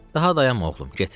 Daha dayanma oğlum, get.